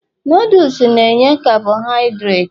noodles na enye carbohidirati